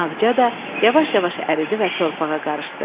Ağca da yavaş-yavaş əridi və torpağa qarışdı.